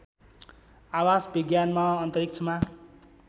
आवास विज्ञानमा अन्तरिक्षमा